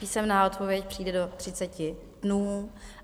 Písemná odpověď přijde do 30 dnů.